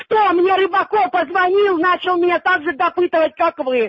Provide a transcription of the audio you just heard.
кто мне рыбаков позвонил начал меня также допытываться как вы